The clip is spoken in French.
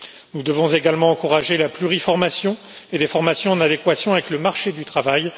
Nous devons également encourager la pluriformation et des formations en adéquation avec le marché du travail.